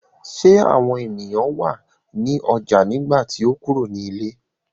Ṣé àwọn ènìyàn wà ní ọjà nígbà tí o kúrò ní ilé?